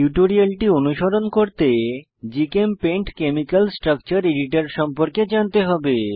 টিউটোরিয়ালটি অনুসরণ করতে জিচেমপেইন্ট কেমিকাল স্ট্রাকচার এডিটর সম্পর্কে জানতে হবে